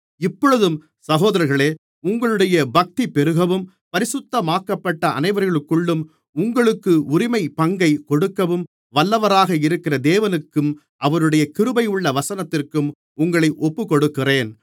இப்பொழுதும் சகோதரர்களே உங்களுடைய பக்தி பெருகவும் பரிசுத்தமாக்கப்பட்ட அனைவருக்குள்ளும் உங்களுக்கு உரிமைப்பங்கைக் கொடுக்கவும் வல்லவராக இருக்கிற தேவனுக்கும் அவருடைய கிருபையுள்ள வசனத்திற்கும் உங்களை ஒப்புக்கொடுக்கிறேன்